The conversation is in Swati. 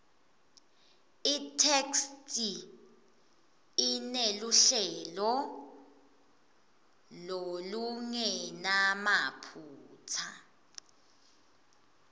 itheksthi ineluhlelo lolungenamaphutsa